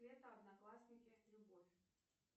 лето одноклассники любовь